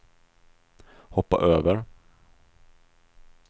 hoppa över